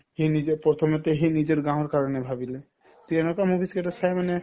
সি নিজে প্ৰথমতে সি নিজৰ গাওঁৰ কাৰণে ভাবিলে তেনেকুৱা movies কেইটা চাই মানে